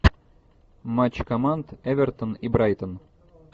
матч команд эвертон и брайтон